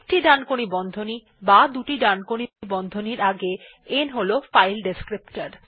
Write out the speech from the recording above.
একটি ডানকোণী বন্ধনী বা দুটি ডানকোণী বন্ধনীর আগে n হল ফাইল ডেসক্রিপ্টর